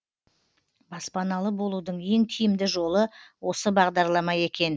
баспаналы болудың ең тиімді жолы осы бағдарлама екен